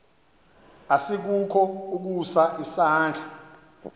asikukho ukusa isandla